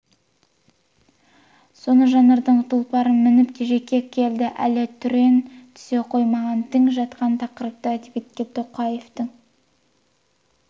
соны жанрдың тұлпарын мініп жеке келді әлі түрен түсе қоймаған тың жатқан тақырыпты әдебиетке тоқаевтың